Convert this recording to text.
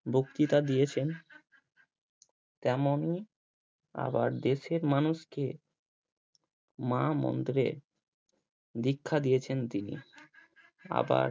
বক্তিতা দিয়েছেন তেমনই আবার দেশের মানুষকে মা মন্ত্রের দীক্ষা দিয়েছেন তিনি আবার